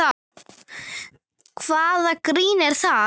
Hvaða grín er það?